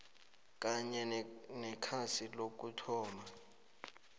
kanye nekhasi lokuthoma